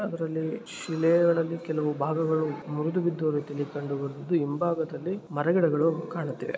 ಅದರಲ್ಲಿ ಕೆಲವೊಂದು ಶಿಲೆ ಗಳು ಮುರಿದು ಬಿದ್ದಿರುವುದು ಕಾಣಬಹುದು ಹಿಂಭಾಗ ದಲ್ಲಿ ಮರ ಗಿಡಗಳು ಕಾಣುತಿದೆ.